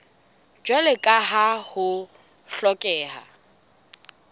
jwalo ka ha ho hlokeha